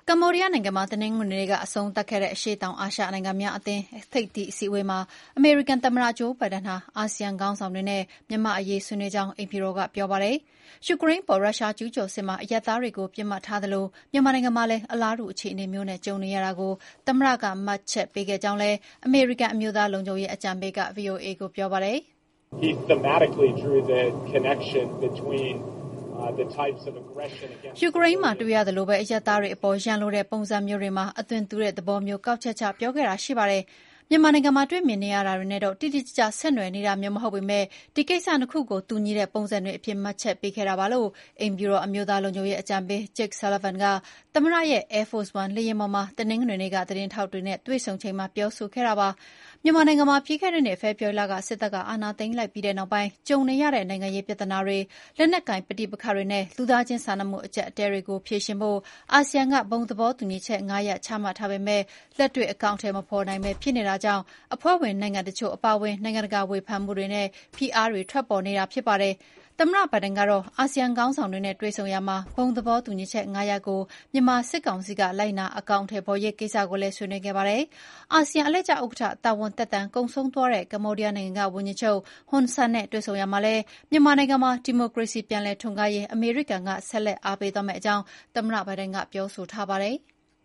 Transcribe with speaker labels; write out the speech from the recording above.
Speaker 1: ကမ္ဘောဒီးယားနိုင်ငံမှာ တနင်္ဂနွေနေ့က အဆုံးသတ်ခဲ့တဲ့ အရှေ့တောင်အာရှ နိုင်ငံများအသင်း ASEAN ထိပ်သီးအစည်းအဝေးမှာ အမေရိကန် သမ္မတ Joe Biden ဟာ အာဆီယံ ခေါင်းဆောင်တွေနဲ့ မြန်မာ့အရေး ဆွေးနွေးဖြစ်ကြောင်း အိမ်ဖြူတော်က ပြောပါတယ်။ ယူကရိန်းအပေါ် ရုရှားကျုးကျော်စစ်မှာ အရပ်သားတွေကို ပစ်မှတ်ထားသလို၊ မြန်မာနိုင်ငံမှာလည်း အလားတူ အခြေအနေမျိုးနဲ့ ကြုံနေရတာကို သမ္မတက မှတ်ချက်ပေးခဲ့ကြောင်းလည်း အမေရိကန် အမျိုးသားလုံခြုံရေးအကြံပေး က ဗွီအိုအေကို ပြောပါတယ်
Speaker 2: ။ “
Speaker 1: ယူကရိန်းမှာ တွေ့ရသလို အရပ်သားတွေအပေါ် ရန်လိုတဲ့ ပုံစံမျိုးတွေမှာ အသွင်တူတဲ့ သဘောမျိုး ကောက်ချက်ချ ပြောခဲ့တာ ရှိပါတယ်။ မြန်မာနိုင်ငံမှာ တွေ့မြင်နေရတာတွေနဲ့တော့ တိတိကျကျ ဆက်နွယ်နေတာမျိုး မဟုတ်ပေမဲ့ ဒီကိစ္စ ၂ ခုကို တူညီတဲ့ ပုံစံတွေအဖြစ် မှတ်ချက်ပေးခဲ့တာပါ။” လို့ အိမ်ဖြူတော် အမျိုးသားလုံခြုံရေးအကြံပေး Jake Sullivan က သမ္မတရဲ့ Air Force One လေယာဉ်ပေါ်မှာ တနင်္ဂနွေနေ့က သတင်းထောက်တွေနဲ့ တွေ့ဆုံချိန်မှာ ပြောခဲ့တာပါ။ မြန်မာနိုင်ငံမှာ ပြီးခဲ့တဲ့နှစ် ဖေဖော်ဝါရီလ စစ်တပ်က အာဏာသိမ်းပြီးနောက်ပိုင်း ကြုံနေရတဲ့ နိုင်ငံရေးပြဿနာတွေ၊ လက်နက်ကိုင်ပဋိပက္ခတွေနဲ့ လူသားချင်းစာနာမှု အကျပ်အတည်းတွေကို ဖြေရှင်းဖို့ အာဆီယံက ဘုံသဘောတူညီချက် ၅ ရပ် ချမှတ်ထားပေမဲ့ လက်တွေ့အကောင်အထည် မဖော်နိုင်ဘဲ ဖြစ်နေတာကြောင့် အဖွဲ့ဝင် နိုင်ငံတချို့ အပါအဝင် နိုင်ငံတကာက ဝေဖန်မှုတွေနဲ့ ဖိအားတွေ ထွက်ပေါ်နေတာ ဖြစ်ပါတယ်။ သမ္မတဘိုင်ဒင်ကတော့ အာဆီယံ ခေါင်းဆောင်တွေနဲ့ တွေ့ဆုံရာမှာ ဘုံသဘောတူညီချက် ၅ ရပ်ကို မြန်မာစစ်ကောင်စီက လိုက်နာအကောင်အထည်ဖော်ရေး ကိစ္စကိုလည်း ဆွေးနွေးခဲ့ပါတယ်။ အာဆီယံအလှည့်ကျဥက္ကဋ္ဌ တာဝန်သက်တမ်း ကုန်ဆုံးသွားတဲ့ ကမ္ဘောဒီးယားနိုင်ငံက ဝန်ကြီးချုပ် ဟွန်ဆန်နဲ့ တွေ့ဆုံရာမှာလည်း မြန်မာနိုင်ငံမှာ ဒီမိုကရေစီပြန်လည်ထွန်းကားရေး အမေရိကန်က ဆက်လက် အားပေးသွားမယ့်အကြောင်း သမ္မတဘိုင်ဒင်က ပြောဆိုထားပါတယ်။